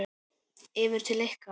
Yfir til ykkar?